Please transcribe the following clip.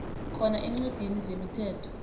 khona eencwadini zemithetho